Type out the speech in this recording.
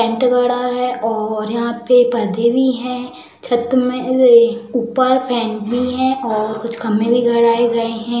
है और यहां पे पर्दे भी हैं। छत में ऊपर फैन भी है और कुछ खंभें भी गड़ाए गए हैं।